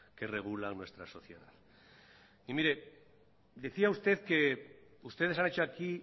que regulan nuestra sociedad y mire decía usted que ustedes han hecho aquí